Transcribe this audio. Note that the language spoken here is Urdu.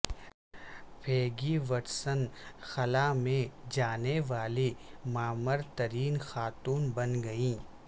پیگی وٹسن خلا میں جانے والی معمر ترین خاتون بن گئیں